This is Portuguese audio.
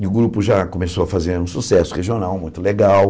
E o grupo já começou a fazer um sucesso regional muito legal.